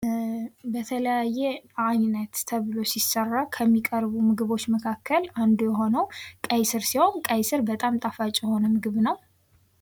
በተለያየ አይነት ተብሎ ሲሰራ ከሚቀርቡ ምግቦች መካከል አንዱ የሆነው ቀይ ስር ሲሆን ቀይ ስር በጣም ጣፋጭ ምግብ ነው።